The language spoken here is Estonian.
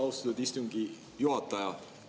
Austatud istungi juhataja!